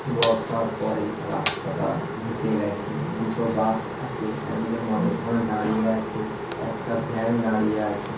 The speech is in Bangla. বর্ষার পরে রাস্তাটা ভিজে গেছে দুটো বাস আছে একজন মানুষ ওখানে দাড়িয়ে আছে একটা ভ্যান দাড়িয়ে আছে।